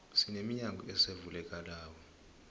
sine minyango ezivulekelako